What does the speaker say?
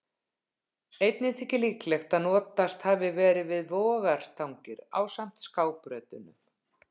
Einnig þykir líklegt að notast hafi verið við vogarstangir ásamt skábrautunum.